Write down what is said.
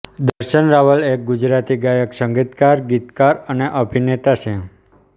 દર્શન રાવલ એક ગુજરાતી ગાયક સંગીતકાર ગીતકાર અને અભિનેતા છે